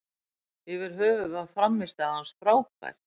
Yfir höfuð var frammistaða hans frábær.